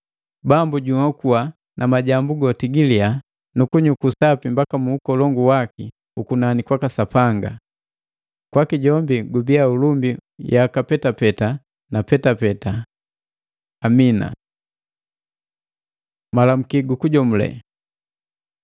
Bambu junhoko na majambu goti giliya, na kunyuku sapi mbaka mu ukolongu waki ukunani kwaka Sapanga. Kwaki gubiya ulumbi yaka petapeta na petapeta! Amina. Malamuki gukujomulela